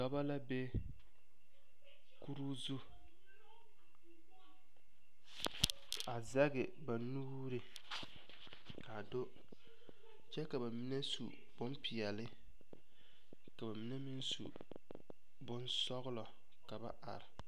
Dɔbɔ la be kuruu zu a zɛge ba nuuri ka a do kyɛ ka ba mine su bompeɛle ka ba mine meŋ su bonsɔglɔ ka ba are.